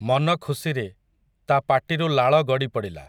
ମନଖୁସିରେ, ତା ପାଟିରୁ ଲାଳ ଗଡ଼ିପଡ଼ିଲା ।